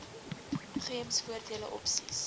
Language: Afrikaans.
gems voordele opsies